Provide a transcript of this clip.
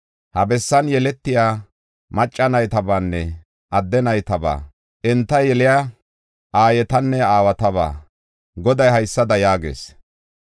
Ha bessan yeletiya macca naytabaanne adde naytabaa, enta yeliya aayetanne aawataba Goday haysada yaagees.